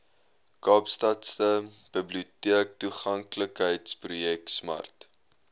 kaapstadse biblioteektoeganklikheidsprojek smart